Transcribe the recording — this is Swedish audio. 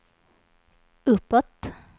uppåt